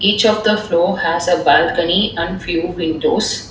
Each of the floor has a balcony and few windows.